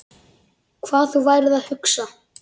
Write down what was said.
Hvað þú værir að hugsa.